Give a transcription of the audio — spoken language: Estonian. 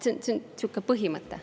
Niisugune põhimõte.